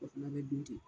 O fana bɛ dun ten